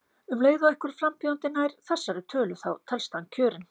Um leið og einhver frambjóðandi nær þessari tölu þá telst hann kjörinn.